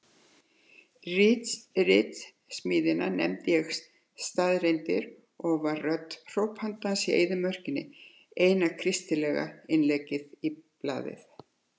Ritsmíðina nefndi ég Staðreyndir og var rödd hrópandans í eyðimörkinni, eina kristilega innleggið í blaðið.